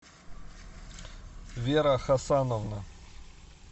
вера хасановна